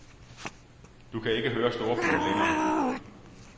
Du kan ikke høre storbyen længere.